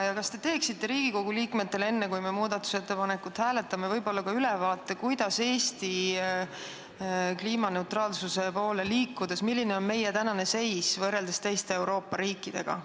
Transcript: Kas te teeksite Riigikogu liikmetele enne, kui me muudatusettepanekut hääletame, ka ülevaate, milline on meie praegune seis kliimaneutraalsuse poole liikudes võrreldes teiste Euroopa riikidega?